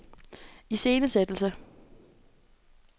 iscenesættelse